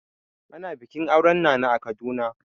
Ana bikin auren nana a Kaduna.